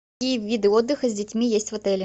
какие виды отдыха с детьми есть в отеле